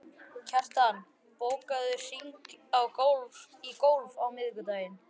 Kjartan, bókaðu hring í golf á miðvikudaginn.